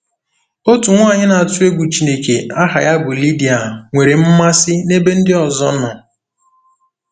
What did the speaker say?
Otu nwaanyị na-atụ egwu Chineke aha ya bụ Lidia nwere mmasị n’ebe ndị ọzọ nọ.